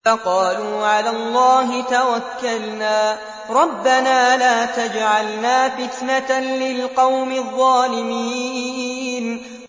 فَقَالُوا عَلَى اللَّهِ تَوَكَّلْنَا رَبَّنَا لَا تَجْعَلْنَا فِتْنَةً لِّلْقَوْمِ الظَّالِمِينَ